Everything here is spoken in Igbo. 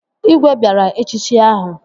Igwe bịara echichi ahụ